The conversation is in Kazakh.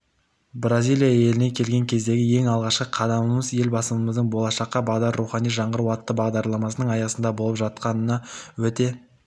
бразилияеліне келген кездегі ең алғашқы қадамымызелбасымыздың болашаққа бағдар рухани жаңғыру атты бағдарламасының аясында болып жатқанына өте